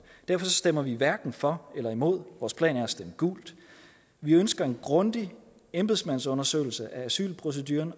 derfor stemmer vi hverken for eller imod vores plan er at stemme gult vi ønsker en grundig embedsmandsundersøgelse af asylproceduren